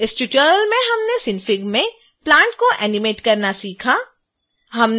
इस ट्यूटोरियल में हमने synfig में plant को एनीमेट करना सीखा